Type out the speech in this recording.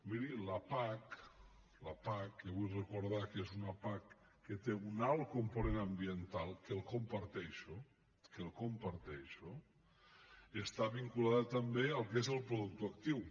miri la pac la pac que vull recordar que és una pac que té un alt component ambiental que el comparteixo que el comparteixo està vinculada també al que és el productor actiu